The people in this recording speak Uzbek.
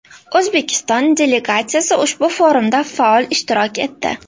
O‘zbekiston delegatsiya ushbu forumda faol ishtirok etdi.